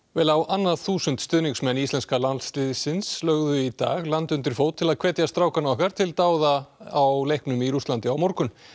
vel á annað þúsund stuðningsmenn íslenska landsliðsins lögðu í dag land undir fót til að hvetja strákana okkar til dáða á leiknum í Rússlandi á morgun